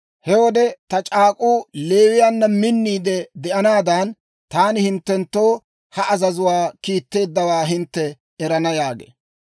He wode ta c'aak'k'uu Leewiyaanna minniide de'anaadan, taani hinttenttoo ha azazuwaa kiitteeddawaa hintte erana» yaagee.